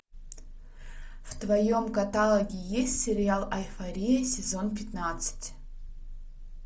в твоем каталоге есть сериал эйфория сезон пятнадцать